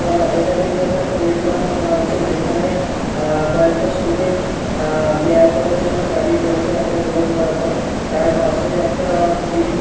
আহ এটা দেখে একটা প্লে গ্রাউন্ড মনে হচ্ছে যেখানে কয়েকটা স্টুডেন্ট পেয়ার করার জন্য দাঁড়িয়ে আছে রো বরাবর তার পাশে একটা গ্রীন --